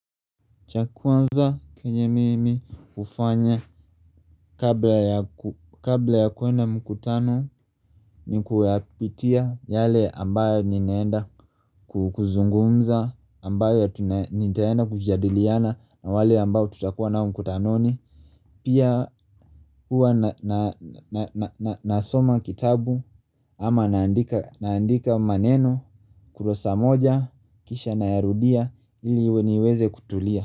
Cha kwanza kenye mimi hufanya kabla ya kuenda mkutano ni kuyapitia yale ambayo ninaenda kuzungumza, ambayo nitaenda kujadiliana na wale ambayo tutakuwa nao mkutanoni. Pia huwa nasoma kitabu ama naandika maneno kurasa moja kisha nayarudia ili niweze kutulia.